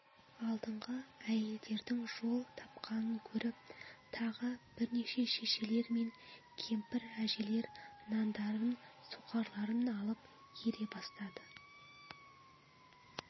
алдыңғы әйелдердің жол тапқанын көріп тағы бірнеше шешелер мен кемпір әжелер нандарын сухарьларын алып ере бастады